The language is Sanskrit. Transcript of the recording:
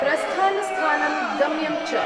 प्रस्थानस्थानं, गम्यं च।